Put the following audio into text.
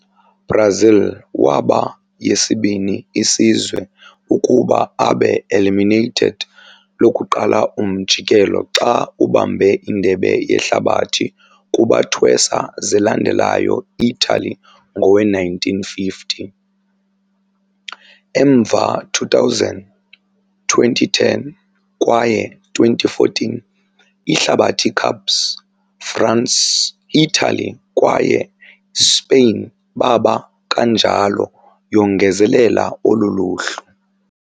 Brazil waba yesibini isizwe ukuba abe eliminated lokuqala umjikelo xa ubambe Indebe Yehlabathi kubathwesa zilandelayo Italy ngowe-1950. Emva 2000, 2010 kwaye 2014 Ihlabathi Cups, France, Italy kwaye Spain baba kanjalo yongezelela olu luhlu.